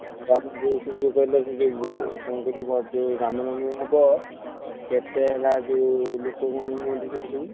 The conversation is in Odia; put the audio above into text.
ଆମର ଯୋଉ ସେ ଯୋଉ ସେ ଯୋଉ କହିଲେ କଣ କହିଲୁ ରାମନବମୀ ହବ କେତେ ହେଲା ଲୋକମାନେ ହୁଅନ୍ତି ସେଠି ସବୁ?